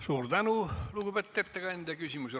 Suur tänu, lugupeetud ettekandja!